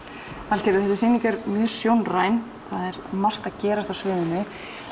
Valgerður þessi sýning er mjög sjónræn það er margt að gerast á sviðinu